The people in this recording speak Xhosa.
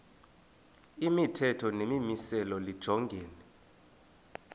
imithetho nemimiselo lijongene